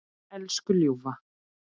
Elsku ljúfa.